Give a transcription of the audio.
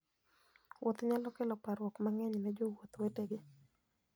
Wuoth nyalo kelo parruok mang'eny ne jowuoth wetegi.